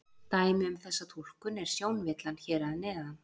Dæmi um þessa túlkun er sjónvillan hér að neðan.